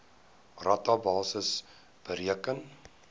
rata basis bereken